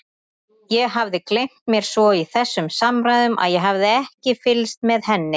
Ég hafði gleymt mér svo í þessum samræðum að ég hafði ekki fylgst með henni.